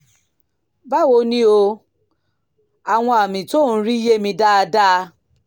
báwo ni o? àwọn àmì tí ò ń rí yé mi dáadáa